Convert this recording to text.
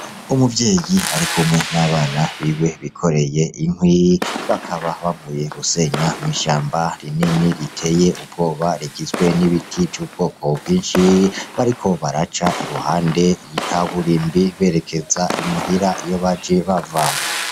Umuvyeyi arikumwe n'abana biwe bikoreye inkwi ; bakaba bavuye gusenya mw'ishamba rinini riteye ubwoba rigizwe n'ibiti vy'ubwoko bwinshi . Bariko baraca iruhande y'ikaburimbi berekeza imuhira iyo baje bava.